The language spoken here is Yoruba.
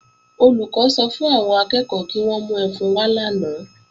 Olùkọ́ sọ fún àwọn akẹ́ẹ̀kọ́ kí wọ́n mú ẹfun wá lánàá